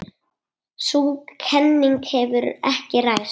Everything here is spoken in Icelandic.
Sú kenning hefur ekki ræst.